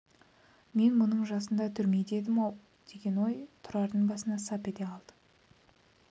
мен мұның жасында түрмеде едім-ау деген ой тұрардың басына сап ете қалды